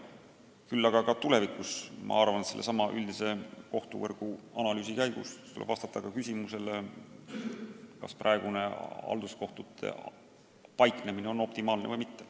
Küll aga tuleb tulevikus sellesama üldise kohtuvõrgu analüüsi käigus vastata ka küsimusele, kas praegune halduskohtute paiknemine on optimaalne või mitte.